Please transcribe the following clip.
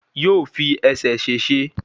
Yóò fi ẹsẹ̀ ṣèṣe